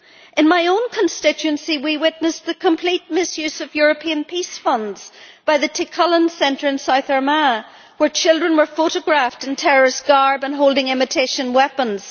In my own constituency we witnessed the complete misuse of European peace funds by the Tí Chulainn Centre in South Armagh, where children were photographed in terrorist garb and holding imitation weapons.